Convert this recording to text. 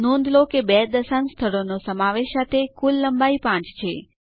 નોંધ લો કે બે દશાંશ સ્થળોનો સમાવેશ સાથે કુલ લંબાઈ પાંચ છે